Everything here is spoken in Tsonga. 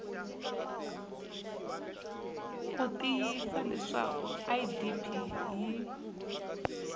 ku tiyisisa leswaku idp yi